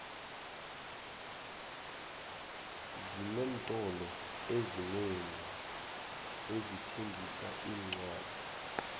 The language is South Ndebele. xinentolo ezinengi ezithengisa iincwadi